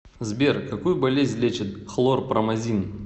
сбер какую болезнь лечит хлорпромазин